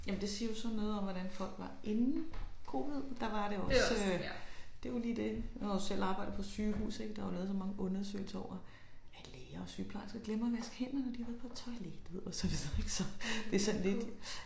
Ja men det siger jo så noget om hvordan folk var inden covid der var det jo også øh. Det jo lige det nu har jeg jo selv arbejdet på sygehus ik der er jo lavet så mange undersøgelser over at læger og sygeplejersker glemmer at vaske hænder når de har været på toilettet og så videre ik det sådan lidt